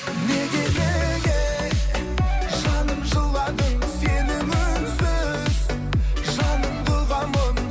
неге неге жаным жыладың сенің үнсіз жаныңды ұғамын